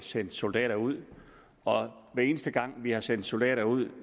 sendt soldater ud og hver eneste gang vi har sendt soldater ud